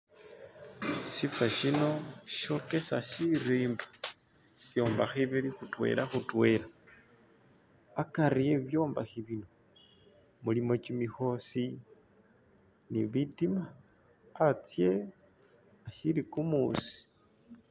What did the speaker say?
Shifa sino shokesa sirimba, bibyombekha bili khutwela khutwela, akari we bibyombekha bino mulimo kimikhosi ni bitima, atsye, asili kumuusi.